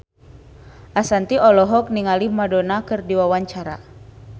Ashanti olohok ningali Madonna keur diwawancara